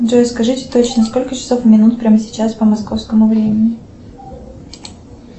джой скажите точно сколько часов и минут прямо сейчас по московскому времени